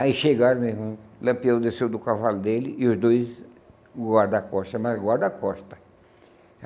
Aí chegaram, meu irmão, Lampião desceu do cavalo dele e os dois guarda-costas, mas guarda-costas.